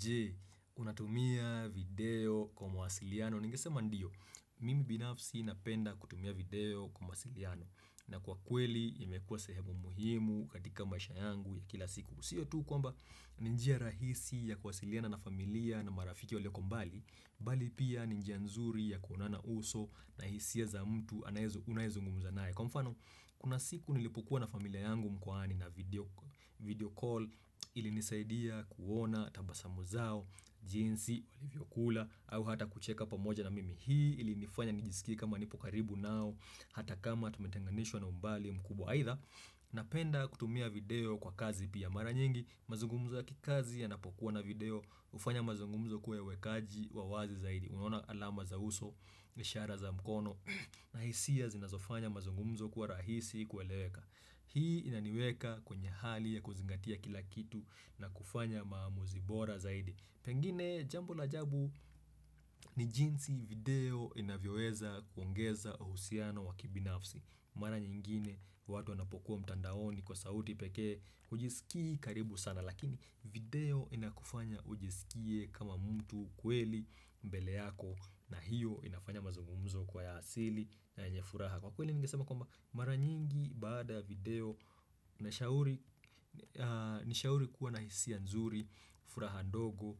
Je, unatumia video kwa mawasiliano. Ningesema ndiyo, mimi binafsi napenda kutumia video kwa mwasiliano. Na kwa kweli, imekuwa sehemu muhimu katika maisha yangu ya kila siku. Sio tu kwamba, ni njia rahisi ya kuwasiliana na familia na marafiki walioko mbali, bali pia ni njia nzuri ya kuonana uso na hisia za mtu unaezungumuza nae. Kwa mfano, kuna siku nilipokua na familia yangu mkwani na video call ilinisaidia kuona tabasamu zao jinsi walivyo kula au hata kucheka pamoja na mimi hii ilinifanya nijisikie kama nipo karibu nao hata kama tumetenganishwa na umbali mkubwa haidha napenda kutumia video kwa kazi pia mara nyingi mazungumzo ya kikazi yanapokuwa na video ufanya mazungumzo kuwe ya uwekaji wa wazi zaidi unaona alama za uso, ishara za mkono na hisia zinazofanya mazungumzo kuwa rahisi kueleweka Hii inaniweka kwenye hali ya kuzingatia kila kitu na kufanya maamuzi bora zaidi Pengine jambo la ajabu ni jinsi video inavyoweza kuongeza uhusiano wa kibinafsi Mara nyingine watu wanapokuwa mtandaoni kwa sauti pekee hujisikii karibu sana Lakini video inakufanya ujisikie kama mtu kweli mbele yako na hiyo inafanya mazungumzo kwa ya asili na enye furaha Kwa kweli ngesema kwamba mara nyingi baada ya video ni shauri kuwa na hisia nzuri, furaha ndogo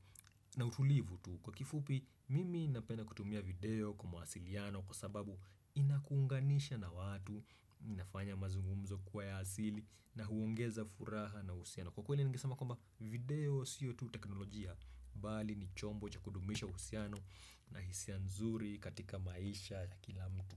na utulivu tu. Kwa kifupi mimi napenda kutumia video kwa mawasiliano kwa sababu inakuunganisha na watu, inafanya mazungumzo kwa ya asili na huongeza furaha na usiano. Kwa kweli ngesama kwamba video sio tu teknolojia bali ni chombo cha kuhudumisha uhusiano na hisia nzuri katika maisha ya kila mtu.